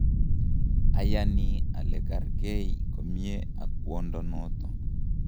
ayani ale kargei komye ak kwondo noto